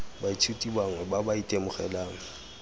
baithuti bangwe ba ba itemogelang